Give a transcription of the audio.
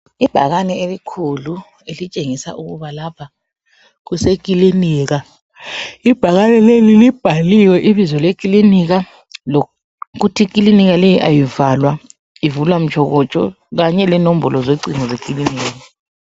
Ibhakani elikhulu elitshengisa ukuba lapha kuseklinika. Ibhakani leli libhaliwe ibizo leklinika lokuthi iklinika leyi ayivalwa, ivulwa mtshokotsho kanye lenombolo zocingo zekliniki.